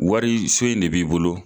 Wari so in de b'i bolo.